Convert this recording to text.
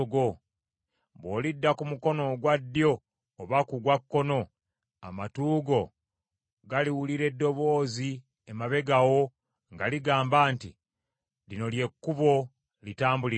Bw’olidda ku mukono ogwa ddyo oba ku gwa kkono, amatu go galiwulira eddoboozi emabega wo nga ligamba nti, “Lino ly’ekkubo, litambuliremu.”